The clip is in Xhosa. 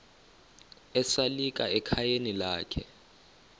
esalika ekhayeni lakhe